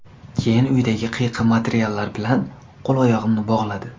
Keyin uydagi qiyqim materiallar bilan qo‘l-oyog‘imni bog‘ladi.